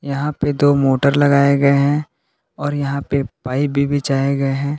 यहां पे दो मोटर लगाए गए हैं और यहां पे पाईप भी बिछाए गए हैं।